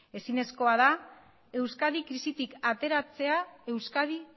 ezinezkoa da euskadi krisitik ateratzea euskadi